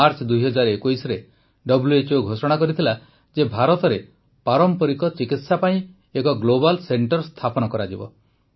March ୨୦୨୧ରେ WHO ଘୋଷଣା କରିଥିଲା ଯେ ଭାରତରେ ପାରମ୍ପରିକ ଚିକିତ୍ସା ପାଇଁ ଏକ ଗ୍ଲୋବାଲ୍ ସେଂଟର୍ ସ୍ଥାପିତ କରାଯିବ